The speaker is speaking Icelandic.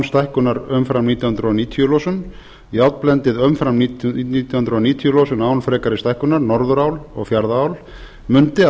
stækkunar umfram nítján hundruð níutíu losun járnblendið umfram nítján hundruð níutíu losun án frekari stækkunar norðurál og fjarðaál mundi að